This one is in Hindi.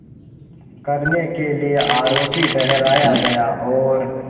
करने के लिए आरोपी ठहराया गया और